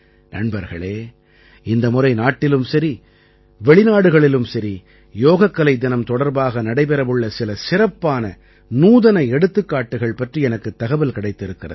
நண்பர்களே இந்த முறை நாட்டிலும் சரி வெளிநாடுகளிலும் சரி யோகக்கலை தினம் தொடர்பாக நடைபெற உள்ள சில சிறப்பான நூதன எடுத்துக்காட்டுகள் பற்றி எனக்குத் தகவல் கிடைத்திருக்கிறது